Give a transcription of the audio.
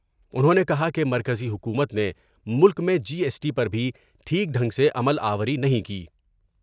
انہوں نے کہا کہ مرکزی حکومت نے ملک میں جی ایس ٹی پر بھی ٹھیک ڈھنگ سے عمل آوری نہیں کی ۔